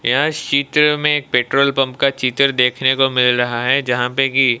यह सीत्र में एक पेट्रोल पंप का चित्र देखने को मिल रहा है जहां पे की--